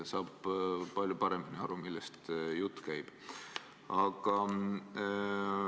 Saab palju paremini aru, millest jutt käib.